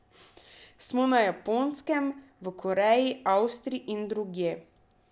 Smo na Japonskem, v Koreji, Avstriji in drugje.